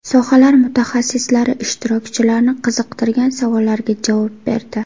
Sohalar mutaxassislari ishtirokchilarni qiziqtirgan savollarga javob berdi.